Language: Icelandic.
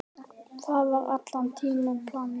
Það var allan tímann planið.